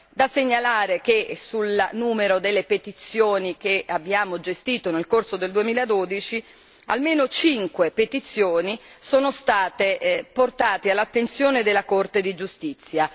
Da segnalare che sul numero delle petizioni che abbiamo gestito nel corso del 2012, almeno 5 petizioni sono state portate all'attenzione della Corte di giustizia.